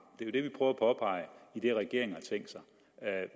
i det regeringen har tænkt sig